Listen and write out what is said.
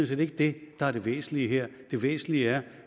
set ikke det der er det væsentlige her det væsentlige er